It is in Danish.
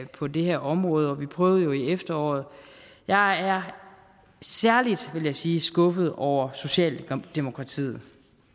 på det her område vi prøvede jo i efteråret jeg er særlig vil jeg sige skuffet over socialdemokratiet